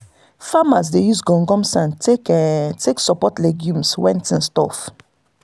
farmers dey use gum gum sand take take support legumes when things tough.